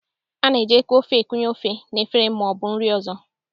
A na-eji eku ofe ekunye ofe n'efere ma ọ bụ nri ọzọ